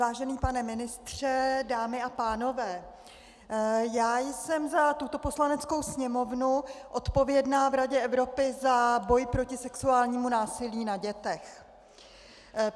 Vážený pane ministře, dámy a pánové, já jsem za tuto Poslaneckou sněmovnu odpovědná v Radě Evropy za boj proti sexuálnímu násilí na dětech.